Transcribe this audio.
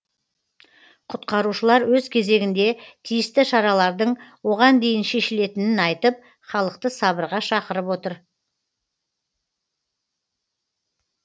құтқарушылар өз кезегінде тиісті шаралардың оған дейін шешілетінін айтып халықты сабырға шақырып отыр